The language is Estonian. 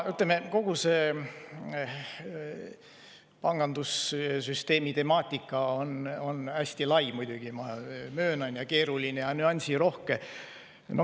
Ütleme, kogu see pangandussüsteemi temaatika on muidugi hästi lai, ma möönan, keeruline ja nüansirohke.